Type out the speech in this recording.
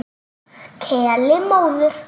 Keli móður.